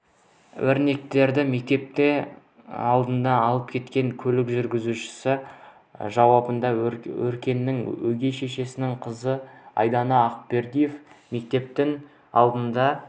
өркенді мектептің алдынан алып кеткен көлік жүргізушісі жауабында өркеннің өгей шешесінің қызы айдана ақбердиева мектептің алдына